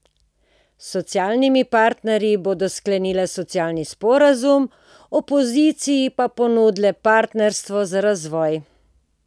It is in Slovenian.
S socialnimi partnerji bodo sklenile socialni sporazum, opoziciji pa ponudile partnerstvo za razvoj.